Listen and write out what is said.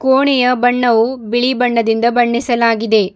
ಕೋಣಿಯ ಬಣ್ಣವು ಬಿಳಿ ಬಣ್ಣದಿಂದ ಬಣ್ಣಿಸಲಾಗಿದೆ.